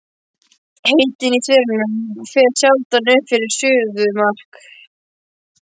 Hitinn í hverunum fer sjaldan upp fyrir suðumark.